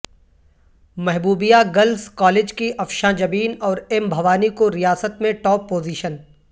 محبوبیہ girls college کی افشاں جبین اورایم بھوانی کوریاست میں ٹاپ پوزیشن